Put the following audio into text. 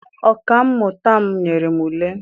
Ọka mmụta m nyere m ule.